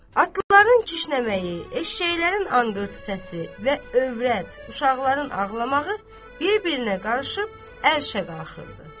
Atların kişnəməyi, eşşəklərin anqırtı səsi və övrət, uşaqların ağlamağı bir-birinə qarışıb ərşə qalxırdı.